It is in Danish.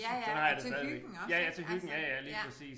Ja ja og til hyggen også ik altså ja